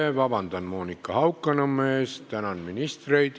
Palun vabandust Monika Haukanõmmelt, tänan ministreid.